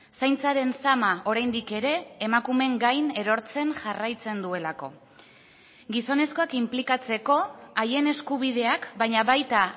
zaintzaren zama oraindik ere emakumeen gain erortzen jarraitzen duelako gizonezkoak inplikatzeko haien eskubideak baina baita